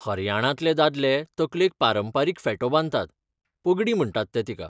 हरयाणांतले दादले तकलेक पारंपारीक फेटो बांदतात, पगडी म्हणटात ते तिका.